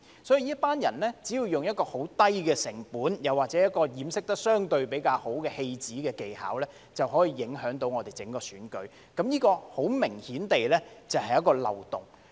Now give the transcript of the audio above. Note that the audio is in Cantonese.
所以，這群人只要用很低的成本，又或掩飾得相對比較好的戲子技巧，便可以影響到整個選舉，這很明顯是一個漏洞。